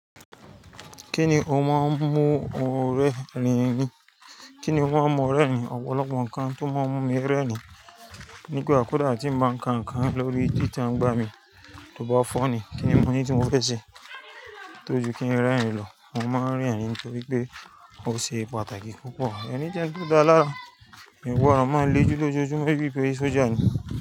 Kíni o máa ń mú ọ rẹ́rìn-ín? Kíni o máa ń mú ọ rẹ́rìn-ín? Ọ̀pọ̀lọpọ̀ nǹkan tó máa ń mú mi rẹ́rìn-ín. Nígbà ko dà tí mo bá ń ka nǹkan lórí Twitter ń gbà mí tó bá fọ́ni, kíni mọ́ ní tí mo fẹ ṣe? Tójú kí ń rẹ́rìn-ín lọ. Mo máa ń rẹ́rìn-ín nítorí pé ó ṣe pàtàkì púpọ̀. Ẹni tí ó dáa lára, ìwọ a máa le jú tójú mọ́ bíi pé sójà ni.